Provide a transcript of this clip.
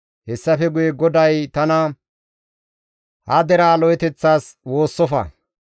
Hessafe guye GODAY tana, «Ha deraa lo7oteththas woossofa.